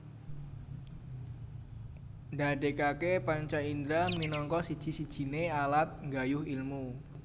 Ndadekake panca indra minangka siji sijine alat nggayuh ilmu